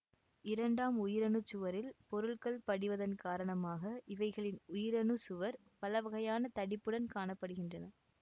இரண்டாம் உயிரணுச்சுவரில் பொருள்கள் படிவதன் காரணமாக இவைகளின் உயிரணுச்சுவர் பலவகையான தடிப்புடன் காண படுகின்றன